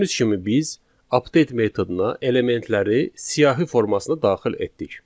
Gördüyünüz kimi biz update metoduna elementləri siyahi formasında daxil etdik.